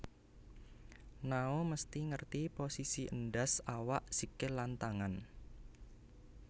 Nao mesti ngerti posisi endas awak sikil lan tangan